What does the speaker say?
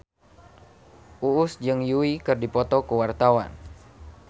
Uus jeung Yui keur dipoto ku wartawan